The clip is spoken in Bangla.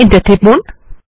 এন্টার টিপুন